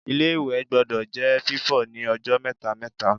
Ilé-ìwẹ̀ gbọdọ̀ jẹ́ fífọ̀ ní ọjọ́ mẹ́ta-mẹ́ta